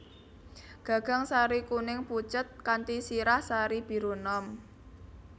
Gagang sari kuning pucet kanthi sirah sari biru enom